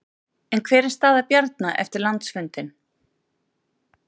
En hver er staða Bjarna eftir landsfundinn?